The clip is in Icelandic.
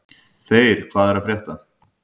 Þeyr, hvað er að frétta?